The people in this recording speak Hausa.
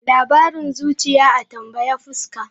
Labarin zuciya, a tambayi fuska.